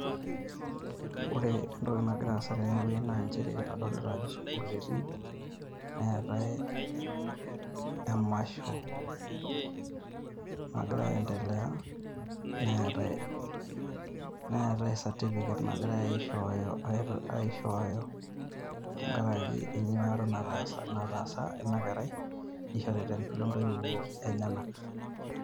Ore entoki nagira aasa tene wueji naa nchere kadolita ajo sukuul etiiki. Neetae emasho nagira aendelea neetae certificate nagirai aishooyo, aishooyo tenkaraki enyuata nataasa nataasa ina kerai, nishori te mbele intoiwuo enyenak.